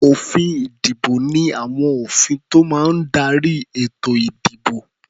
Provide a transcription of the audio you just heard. Òfin-ìdìbò ní àwọn òfin tó máa ń darí ètò-ìdìbò.